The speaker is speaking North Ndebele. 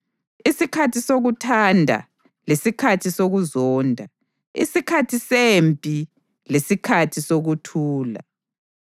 isikhathi sokuthanda lesikhathi sokuzonda, isikhathi sempi lesikhathi sokuthula.